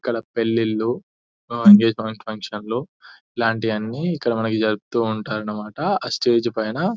ఇక్కడ పెళ్లిళ్లు ఎంగేజ్మెంట్ ఫంక్షన్లో ఇలాంటివన్నీ ఇక్కడ మనకు జరుపుతూ ఉంటారు అన్నమాట ఆ స్టేజ్ పైన --